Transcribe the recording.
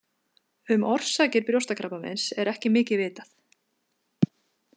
Um orsakir brjóstakrabbameins er ekki mikið vitað.